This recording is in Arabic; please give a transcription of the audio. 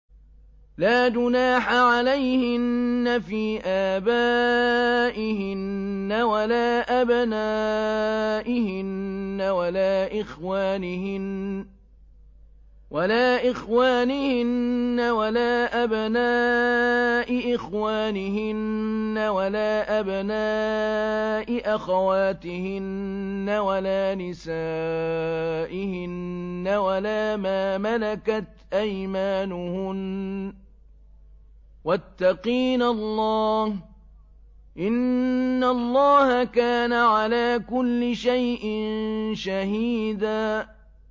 لَّا جُنَاحَ عَلَيْهِنَّ فِي آبَائِهِنَّ وَلَا أَبْنَائِهِنَّ وَلَا إِخْوَانِهِنَّ وَلَا أَبْنَاءِ إِخْوَانِهِنَّ وَلَا أَبْنَاءِ أَخَوَاتِهِنَّ وَلَا نِسَائِهِنَّ وَلَا مَا مَلَكَتْ أَيْمَانُهُنَّ ۗ وَاتَّقِينَ اللَّهَ ۚ إِنَّ اللَّهَ كَانَ عَلَىٰ كُلِّ شَيْءٍ شَهِيدًا